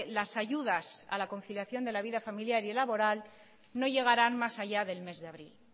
las ayudas a la conciliación de la vida familiar y laboral no llegarán más allá del mes de abril